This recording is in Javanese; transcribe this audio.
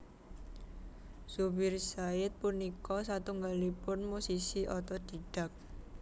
Zubir Said punika satunggalipun musisi otodhidhak